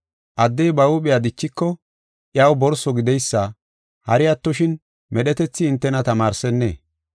Addey ba huuphiya dichiko iyaw borso gideysa hari attoshin medhetethi hintena tamaarsennee?